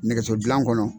Nɛgɛso dilan kɔnɔ